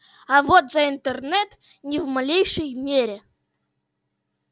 а вот за интернет ни в малейшей мере